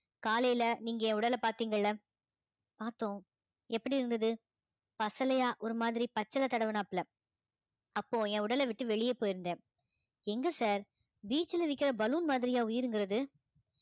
காலையில நீங்க என் உடலை பார்த்தீங்கல்ல பார்த்தோம் எப்படி இருந்தது பசலையா ஒரு மாதிரி பச்சிலை தடவினாப்புல அப்போ என் உடலை விட்டு வெளிய போயிருந்தேன் எங்க sir beach ல விக்கிற balloon மாதிரியா உயிருங்கறது